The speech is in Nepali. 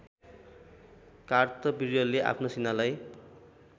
कार्तविर्यले आफ्नो सेनालाई